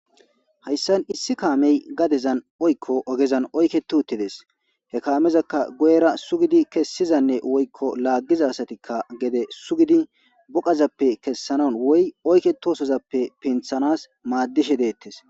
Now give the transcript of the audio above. Hayssan issi kaamey gadezan oykko ogezan oyke tuuttides he kaamezakka goyera sugidi kessizanne woykko laaggiza asatikka gede sugidi boqazappe kessanan woy oyketosozappe pinthanas maaddishe deettes.